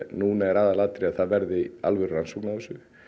núna er aðalatriðið að það verði alvöru rannsókn á þessu